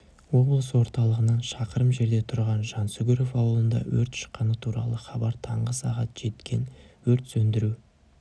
облыс орталығынан шақырым жерде түрған жансүгіров ауылында өрт шыққаны туралы хабар таңғы сағат жеткен өрт сөндіру